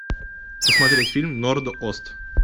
посмотреть фильм норд ост